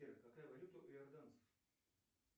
сбер какая валюта у иорданцев